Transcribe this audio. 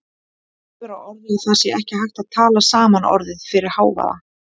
Hefur á orði að það sé ekki hægt að tala saman orðið fyrir hávaða.